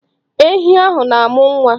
Enyi ahụ na-amụ nwa.